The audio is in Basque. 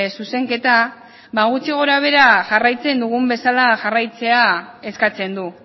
zuzenketa ba gutxi gorabehera jarraitzen dugun bezala jarraitzea eskatzen du